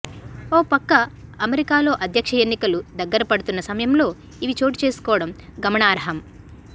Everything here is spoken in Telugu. ఓ పక్క అమెరికాలో అధ్యక్ష ఎన్నికలు దగ్గర పడుతున్న సమయంలో ఇవి చోటు చేసుకోవడం గమనార్హం